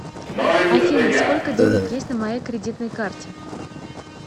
афина сколько денег есть на моей кредитной карте